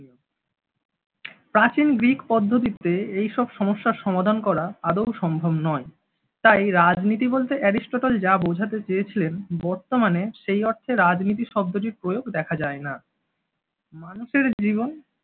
প্রাচীন গ্রিক পদ্ধতিতে এইসব সমস্যার সমাধান করা আদৌ সম্ভব নয়। তাই রাজনীতি বলতে অ্যারিস্টটল যা বোঝাতে চেয়েছেন বর্তমানে সেই অর্থে রাজনীতি শব্দটির প্রয়োগ দেখা যায় না। মানুষের জীবন